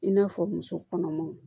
I n'a fɔ muso kɔnɔmaw